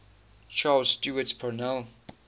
charles stewart parnell